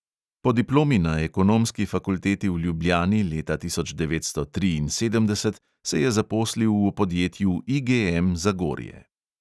Po diplomi na ekonomski fakulteti v ljubljani leta tisoč devetsto triinsedemdeset se je zaposlil v podjetju IGM zagorje.